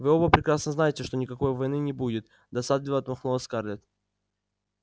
вы оба прекрасно знаете что никакой войны не будет досадливо отмахнулась скарлетт